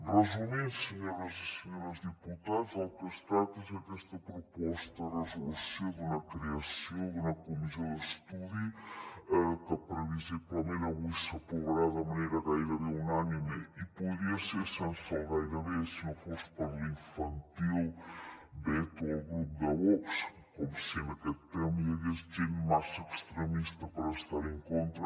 resumint senyores i senyors diputats el que es tracta és aquesta proposta de resolució d’una creació d’una comissió d’estudi que previsiblement avui s’aprovarà de manera gairebé unànime i podria ser sense el gairebé si no fos per l’infantil veto al grup de vox com si en aquest tema hi hagués gent massa extremista per estar hi en contra